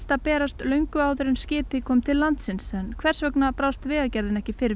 að berast löngu áður en skipið kom til landsins en hvers vegna brást Vegaerðin ekki fyrr